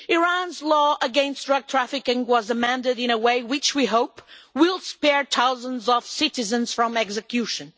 Iran's law against drug trafficking was amended in a way which we hope will spare thousands of citizens from execution.